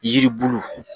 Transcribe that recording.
Yiri bulu